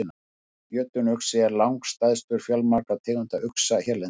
Jötunuxi er langstærstur fjölmargra tegunda uxa hérlendis.